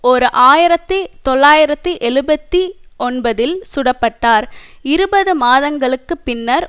ஓர் ஆயிரத்தி தொள்ளாயிரத்தி எழுபத்தி ஒன்பதில் சுடப்பட்டார் இருபது மாதங்களுக்கு பின்னர்